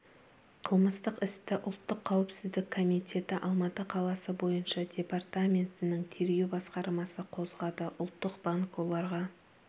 қылмыстық істі ұлттық қауіпсіздік комитеті алматы қаласы бойынша департаментінің тергеу басқармасы қозғады ұлттық банк оларға